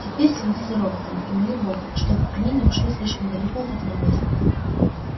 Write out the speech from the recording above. теперь следи за роботами и моли бога чтобы они не ушли слишком далеко от этого места